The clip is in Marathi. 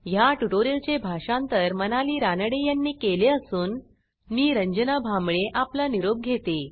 ह्या ट्युटोरियलचे भाषांतर मनाली रानडे यांनी केले असून मी रंजना भांबळे आपला निरोप घेते